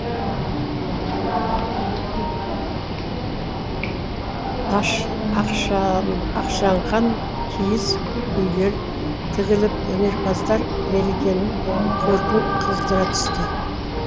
ақшаңқан киіз үйлер тігіліп өнерпаздар мерекенің көркін қыздыра түсті